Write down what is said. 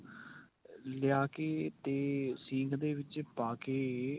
ਲਿਆਕੇ ਤੇ ਸੀਂਖ ਦੇ ਵਿੱਚ ਪਾ ਕੇ